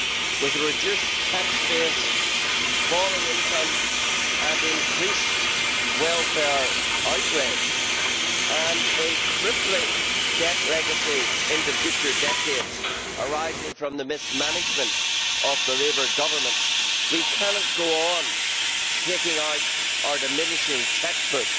With a reduced tax base, falling income and increased welfare outlay, and a crippling debt legacy in the future decades arising from the mismanagement of the Labour Government, we cannot go on taking out our diminishing cheque book